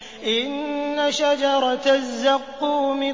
إِنَّ شَجَرَتَ الزَّقُّومِ